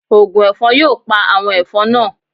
Ògùn ẹ̀fọn yóò pa àwọn ẹ̀fọn naa